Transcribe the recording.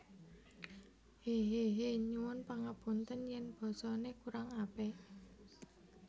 Hehehe Nyuwun pangapunten yen basa ne kurang apik